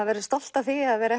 verður stolt af því að vera